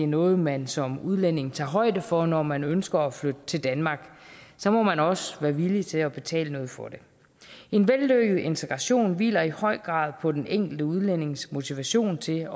noget man som udlænding tager højde for når man ønsker at flytte til danmark så må man også være villig til at betale noget for det en vellykket integration hviler i høj grad på den enkelte udlændings motivation til